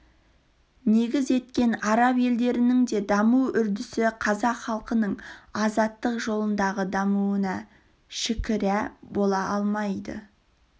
негіз еткен араб елдерінің де даму үрдісі қазақ халқының азаттық жолындағы дамуына шікірә бола алмайды